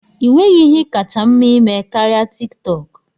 Ị nweghị ihe kacha mma ịme karịa TikTok?